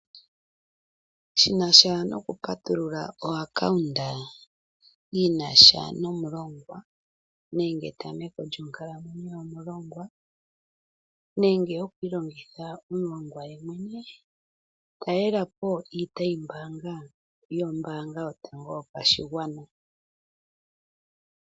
Shinasha noku patulula epandja lyombaanga lyinasha nomulongwa nenge etameko lyonkalamwenyo yomulongwa ,nenge yoku ilongitha omulongwa yemwene talelapo iitayi mbaanga yombaanga yotango yopashigwana.